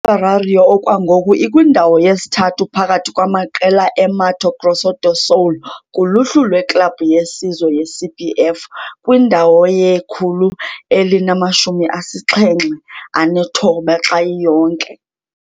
I-Operário okwangoku ikwindawo yesithathu phakathi kwamaqela e-Mato Grosso do Sul kuluhlu lweklabhu yesizwe ye-CBF, kwindawo ye-179 xa iyonke.